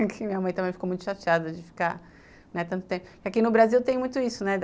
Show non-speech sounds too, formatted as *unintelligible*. *unintelligible* minha mãe também ficou muito chateada, de ficar, né, tanto tempo... Aqui no Brasil tem muito isso, né?